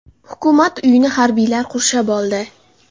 Hukumat uyini harbiylar qurshab oldi.